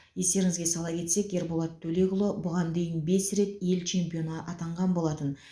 естеріңізге сала кетсек ерболат төлекұлы бұған дейін бес рет ел чемпионы атанған болатын